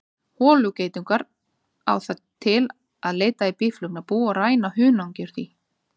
Holugeitungur á það til að leita í býflugnabú og ræna hunangi úr því.